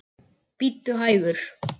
Bíddu hægur.